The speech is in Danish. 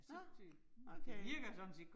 Nåh. Okay